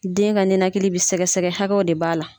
Den ka nɛnakili b'i sɛgɛsɛgɛ hakɛ de b'a la.